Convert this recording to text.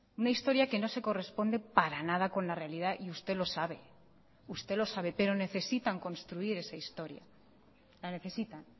una historia que no se corresponde para nada con la realidad y usted lo sabe usted lo sabe pero necesitan construir esa historia la necesitan